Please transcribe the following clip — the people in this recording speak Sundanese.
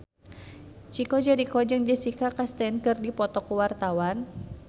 Chico Jericho jeung Jessica Chastain keur dipoto ku wartawan